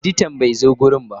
Editan bai zo wurin ba.